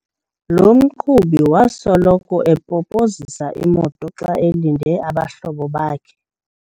Lo mqhubi wasoloko epopozisa imoto xa elinde abahlobo bakhe.